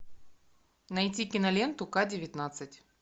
найти киноленту к девятнадцать